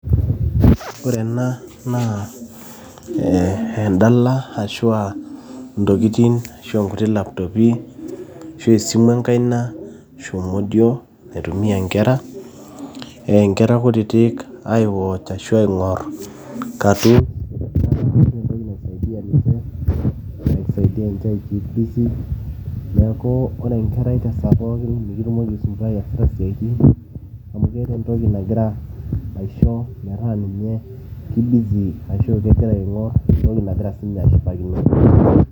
ore ena naa eh, endala ashua ntokitin ashua nkutiti laptopi ashu esimu enkaina ashu modio naitumia inkera eh, inkera kutitik ae watch[c ashu aing'orr cartoon naa yiolo entoki naisaidia ninche, naisiadia ninche ae keep busy neeku ore enkerai tesaa pookin mikitumoki aisumbuai iasita isiaitin amu keeta entoki nagira aisho metaa ninye ki busy ashu kegira aing'orr entoki nagira siinye ashipakino.